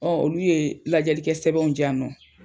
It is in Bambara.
olu ye lajɛlikɛ sɛbɛnw di yan nɔ